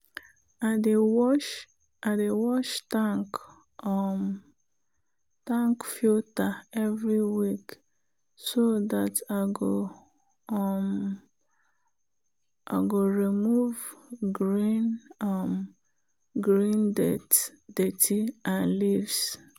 i dey wash i dey wash tank um tank filter every week so dat i go um remove green um dirt and leaves.